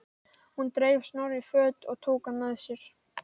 Hún dreif Snorra í föt og tók hann með sér.